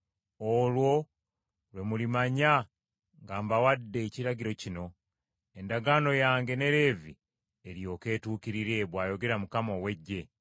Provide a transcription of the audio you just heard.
Olwo lwe mulimanya nga mbawadde ekiragiro kino, endagaano yange ne Leevi eryoke etuukirire,” bw’ayogera Mukama ow’Eggye.